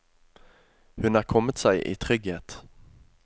Hun er kommet seg i trygghet.